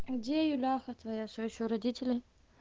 где юляха твоя все ещё родители